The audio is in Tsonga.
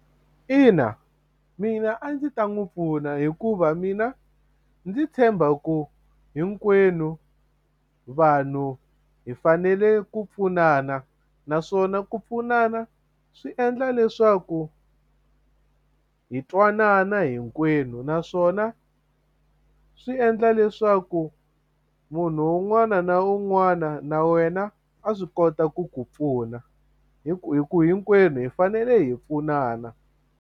Ina mina a ndzi ta n'wi pfuna hikuva mina ndzi tshemba ku hinkwenu vanhu hi fanele ku pfunana naswona ku pfunana swi endla leswaku hi twanana hinkwenu naswona swi endla leswaku munhu un'wana na un'wana na wena a swi kota ku ku pfuna hi ku hi ku hinkwenu hi fanele hi pfunana.